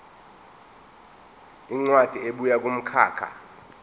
incwadi ebuya kumkhakha